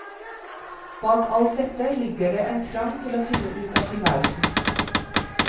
Bak alt dette ligger det en trang til å finne ut av tilværelsen.